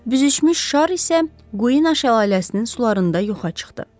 Büzüşmüş şar isə Quina şəlaləsinin sularında yoxa çıxdı.